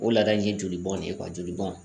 O laada in ye jolibɔn de ye joli bɔn